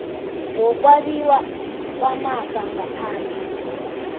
wokwabiwa kwamafa ngaphandle